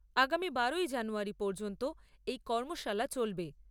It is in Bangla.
আগামী বারোই জানুয়ারী পর্যন্ত এই কর্মশালা চলবে।